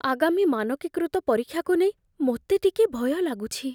ଆଗାମୀ ମାନକୀକୃତ ପରୀକ୍ଷାକୁ ନେଇ ମୋତେ ଟିକିଏ ଭୟ ଲାଗୁଛି।